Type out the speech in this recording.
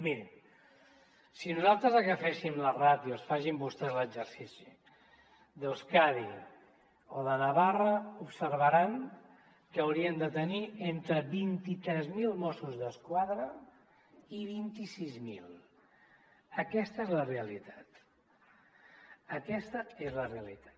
mirin si nosaltres agafessin les ràtios facin vostès l’exercici d’euskadi o de navarra observaran que hauríem de tenir entre vint tres mil mossos d’esquadra i vint sis mil aquesta és la realitat aquesta és la realitat